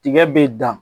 Tiga bɛ dan